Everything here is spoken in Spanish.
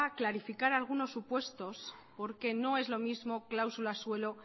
clarificar algunos supuestos porque no es lo mismo cláusula suelo